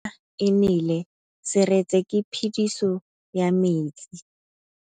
Fa pula e nelê serêtsê ke phêdisô ya metsi.